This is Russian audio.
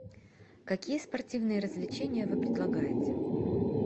какие спортивные развлечения вы предлагаете